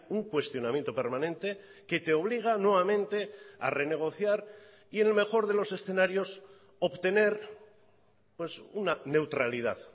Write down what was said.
un cuestionamiento permanente que te obliga nuevamente a renegociar y en el mejor de los escenarios obtener una neutralidad